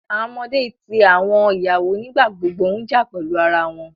Awọn ọmọde ti awọn iyawo nigbagbogbo n ja pẹlu ara wọn